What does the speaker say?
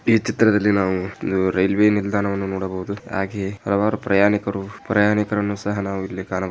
ಈ ಚಿತ್ರದಲ್ಲಿ ನಾವು ಒಂದು ರೈಲ್ವೆ ನಿಲ್ದಾಣವನ್ನು ನೋಡಬಹುದು ಹಾಗೆ ಹಲವಾರು ಪ್ರಯಾಣಿಕರು ಪ್ರಯಾಣಿಕರು ಅನ್ನು ಸಹ ನಾವಿಲ್ಲಿ ನೋಡಬಹುದು.